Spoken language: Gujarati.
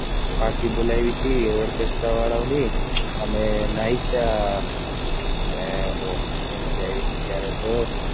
પાલટી બોલાવી હતી orchestra વાળાઓની અને નાઈચા અને મજા આય્વી હતી ત્યારે તો